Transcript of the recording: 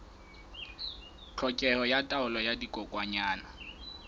tlhokeho ya taolo ya dikokwanyana